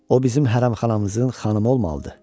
O bizim hərəmxanamızın xanımı olmalıdır.